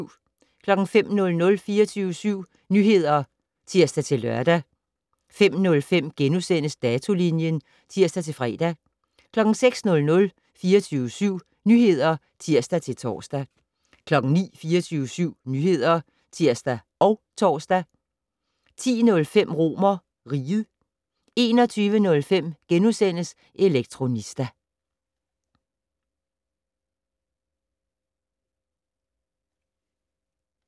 05:00: 24syv Nyheder (tir-lør) 05:05: Datolinjen *(tir-fre) 06:00: 24syv Nyheder (tir-tor) 09:00: 24syv Nyheder (tir og tor) 10:05: RomerRiget 21:05: Elektronista *